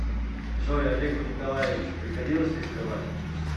джой олегу николаевичу приходилось рисковать